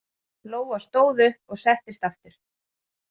Lóa stóð upp og settist aftur.